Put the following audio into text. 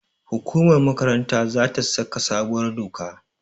hukumar makaranta za ta saka sabuwar doka